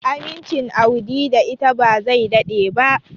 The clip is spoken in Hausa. Amincin Audi da ita ba zai daɗe ba.